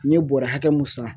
N ye bɔrɛ hakɛ mun san